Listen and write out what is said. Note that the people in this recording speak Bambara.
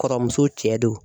Kɔrɔmuso cɛ do.